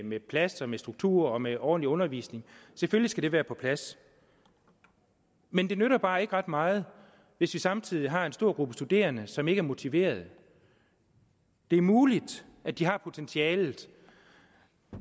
med plads med struktur og med ordentlig undervisning selvfølgelig skal det være på plads men det nytter bare ikke ret meget hvis vi samtidig har en stor gruppe studerende som ikke er motiverede det er muligt at de har potentialet